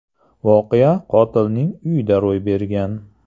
Voqea qotilning uyida ro‘y bergan.